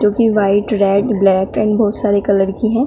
जो कि white red black and बहुत सारे कलर की है।